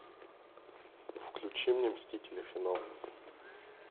включи мне мстители финал